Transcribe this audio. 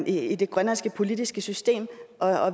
i det grønlandske politiske system